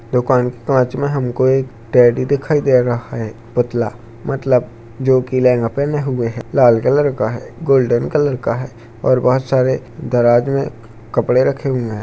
दुकान के पाछ में हमको एक टेड्डी दिखाई दे रहा हैं पुत्तला मतलब जो की लेहंगा पेहने हुए हैं लाल कलर का हैं गोल्डन कलर का हैं और बहुत सारे दराज में कपड़े रखे हुए हैं।